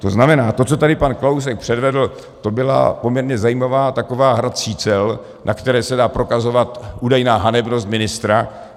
To znamená to, co tady pan Kalousek předvedl, to byla poměrně zajímavá taková hra čísel, na které se dá prokazovat údajná hanebnost ministra.